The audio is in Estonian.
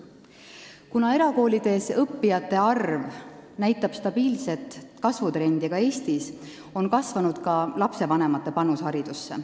Kuna erakoolides õppijate arv näitab stabiilset kasvutrendi ka Eestis, on kasvanud ka lastevanemate panus haridusse.